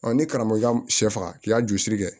ni karamɔgɔ ka sɛ faga k'i y'a jurusiri kɛ